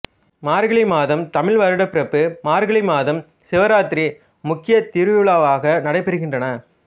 மார்கழி மாதம் தமிழ் வருடப்பிறப்பு மார்கழி மாதம் சிவராத்திரி முக்கிய திருவிழாக்களாக நடைபெறுகின்றன